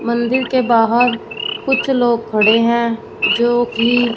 मंदिर के बाहर कुछ लोग खड़े हैं जोकि--